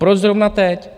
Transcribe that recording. Proč zrovna teď?